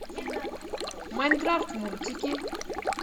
майнкрафт мультики